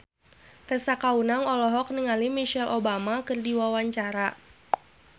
Tessa Kaunang olohok ningali Michelle Obama keur diwawancara